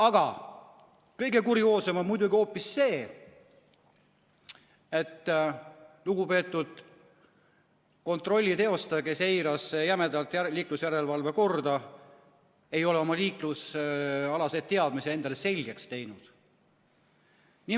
Aga kõige kurioossem on muidugi hoopis see, et lugupeetud kontrolli teostaja, kes eiras jämedalt liiklusjärelevalve korda, ei ole oma liiklusalaseid teadmisi endale selgeks teinud.